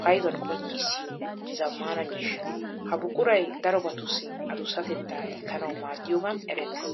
paydduwan qonccissiyo zamaana miishsha. Ha buquray darobattussi adusatetta likkanawu maadiyogan erettes.